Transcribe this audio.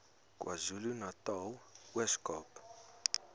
kwazulunatal ooskaap